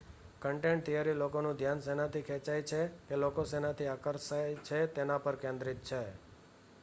content theory લોકોનું ધ્યાન શેનાથી ખેંચાય છે કે લોકો શેનાથી આકર્ષાય છે તેના પર કેન્દ્રિત છે